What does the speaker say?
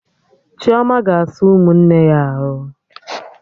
Chioma ga-asa ụmụnne ya arụ